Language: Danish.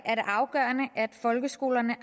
er det afgørende at folkeskolerne